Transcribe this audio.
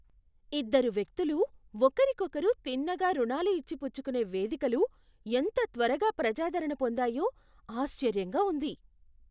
ఇద్దరు వ్యక్తులు ఒకరికొకరు తిన్నగా రుణాలు ఇచ్చి పుచ్చుకునే వేదికలు ఎంత త్వరగా ప్రజాదరణ పొందాయో ఆశ్చర్యంగా ఉంది.